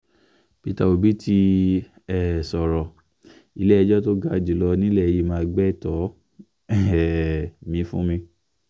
peter obi ti um sọ̀rọ̀ ilé-ẹjọ́ tó ga jù lọ nílẹ̀ yìí máa gbétò um mi fún mi